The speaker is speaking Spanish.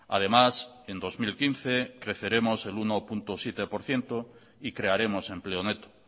además en dos mil quince creceremos en uno coma siete por ciento y crearemos empleo neto